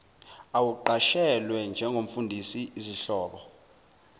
awuqashelwe njengomfundisi izihlobo